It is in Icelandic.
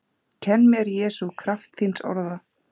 Kenn mér Jesús kraft þíns orða